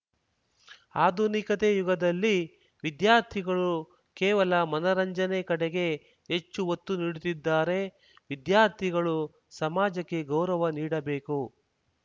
ಆಧುನಿಕತೆ ಯುಗದಲ್ಲಿ ವಿದ್ಯಾರ್ಥಿಗಳು ಕೇವಲ ಮನರಂಜನೆ ಕಡೆಗೆ ಹೆಚ್ಚು ಒತ್ತು ನೀಡುತ್ತಿದ್ದಾರೆ ವಿದ್ಯಾರ್ಥಿಗಳು ಸಮಾಜಕ್ಕೆ ಗೌರವ ನೀಡಬೇಕು